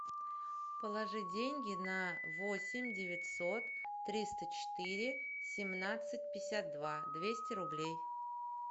положи деньги на восемь девятьсот триста четыре семнадцать пятьдесят два двести рублей